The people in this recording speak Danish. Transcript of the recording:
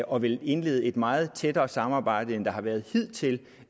og vil indlede et meget tættere samarbejde end der har været hidtil